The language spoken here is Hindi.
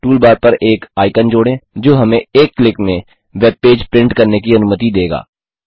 टूलबार पर एक आइकन जोड़ें जो हमें एक क्लिक में वेब पेज प्रिंट करने की अनुमति देगा